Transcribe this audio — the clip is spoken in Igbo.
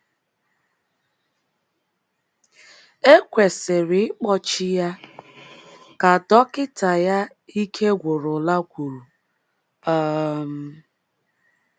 ‘ E kwesịrị ịkpọchi ya, ’ ka dọkịta ya ike gwụrụla kwuru. um